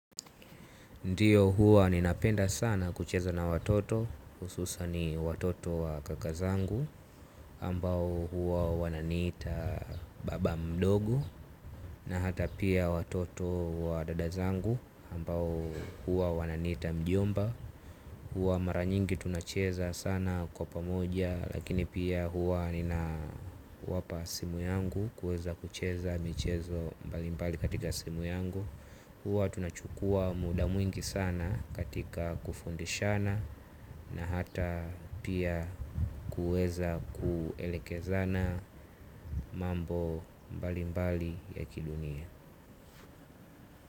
Ndiyo huwa ninapenda sana kucheza na watoto hususani watoto wa kaka zangu ambao huwa wananiita baba mdogo na hata pia watoto wa dada zangu ambao huwa wananiita mjomba. Huwa mara nyingi tunacheza sana kwa pamoja. Lakini pia huwa ninawapa simu yangu. Kuweza kucheza michezo mbalimbali katika simu yangu. Huwa tunachukua muda mwingi sana katika kufundishana na hata pia kuweza kuelekezana mambo mbalimbali ya kidunia.